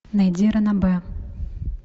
найди ранобэ